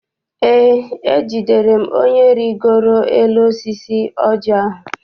Eé, ejidere m onye rigoro n'elu osisi oji ahụ.